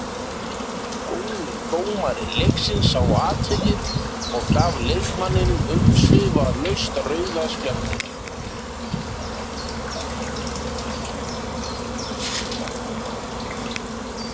Góður dómari leiksins sá atvikið og gaf leikmanninum umsvifalaust rauða spjaldið.